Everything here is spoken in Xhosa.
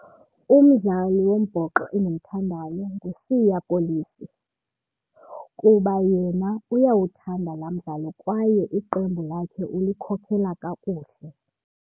Umdlali wombhoxo endimthandayo nguSiya Kolisi kuba yena uyawuthanda laa mdlalo kwaye iqembu lakhe ulikhokhela kakuhle.